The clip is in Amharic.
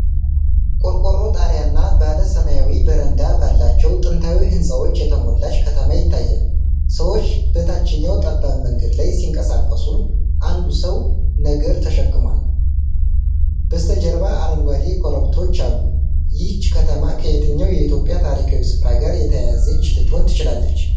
ቆርቆሮ ጣሪያና ባለ ሰማያዊ በረንዳ ባላቸው ጥንታዊ ሕንፃዎች የተሞላች ከተማ ይታያል። ሰዎች በታችኛው ጠባብ መንገድ ላይ ሲንቀሳቀሱ፣ አንዱ ሰው ነገር ተሸክሟል። በስተጀርባ አረንጓዴ ኮረብቶች አሉ። ይህች ከተማ ከየትኛው የኢትዮጵያ ታሪካዊ ስፍራ ጋር የተያያዘች ልትሆን ትችላለች?